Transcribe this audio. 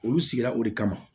Olu sigira o de kama